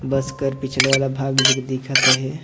बस कर पिछले वाला भाग एजक दिखत अहे।